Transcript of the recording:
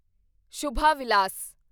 Shubha Vilas